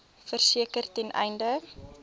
verseker ten einde